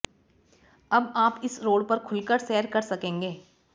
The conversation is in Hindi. अब आप इस रोड पर खुलकर सैर कर सकेंगे